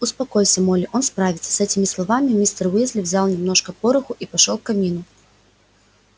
успокойся молли он справится с этими словами мистер уизли взял немножко пороху и пошёл к камину